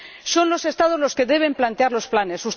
Son los Estados los que deben plantear los planes.